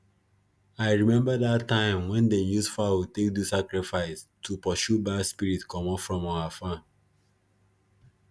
i remember that time when them use fowl take do sacrifice to pursue bad spirit comot from our farm